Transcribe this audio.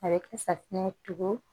A bɛ kɛ safunɛ tugun